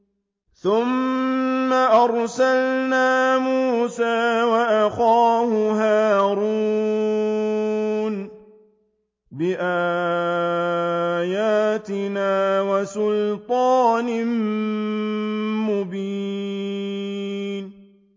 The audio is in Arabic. ثُمَّ أَرْسَلْنَا مُوسَىٰ وَأَخَاهُ هَارُونَ بِآيَاتِنَا وَسُلْطَانٍ مُّبِينٍ